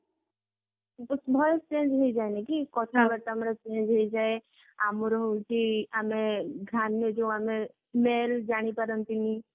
voice change ହେଇଯାଏନି କି କଥାବାରତା ଆମର change ହେଇଯାଏ ଆମର ହଉଛି ଆମେ smell ଜାଣିପାରନ୍ତିନି